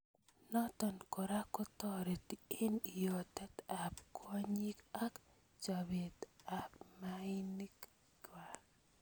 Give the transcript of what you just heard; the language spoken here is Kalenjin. Notok kora kotareti eng iyotet ab kwonyik ak chobet ab maik kwaak.